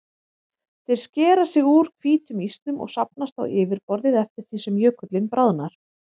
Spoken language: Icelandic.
Þeir skera sig úr hvítum ísnum og safnast á yfirborðið eftir því sem jökullinn bráðnar.